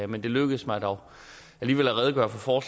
men det lykkedes mig dog alligevel at redegøre for